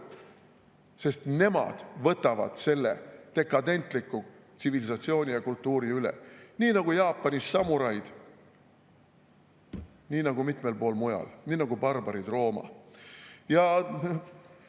Sest nemad võtavad selle dekadentliku tsivilisatsiooni ja kultuuri üle, nii nagu Jaapanis samuraid, nii nagu on olnud mitmel pool mujal, nagu barbarid Rooma.